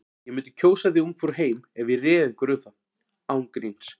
Ég mundi kjósa þig Ungfrú heim ef ég réði einhverju um það. án gríns.